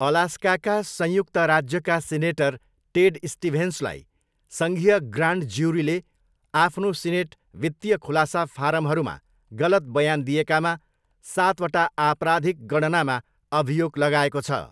अलास्काका संयुक्त राज्यका senator Ted स्टिभेन्सलाई सङ्घीय ग्रान्ड ज्युरीले आफ्नो सिनेट वित्तीय खुलासा फारमहरूमा गलत बयान दिएकामा सातवटा आपराधिक गणनामा अभियोग लगाएको छ।